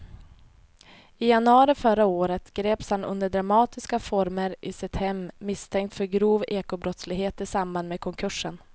I januari förra året greps han under dramatiska former i sitt hem misstänkt för grov ekobrottslighet i samband med konkursen.